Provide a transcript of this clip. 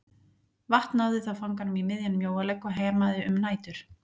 Vatn náði þá fanganum í miðjan mjóalegg og hemaði um nætur.